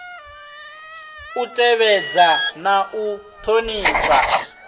u tevhedza na u thonifha